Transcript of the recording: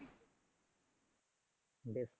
বেশ।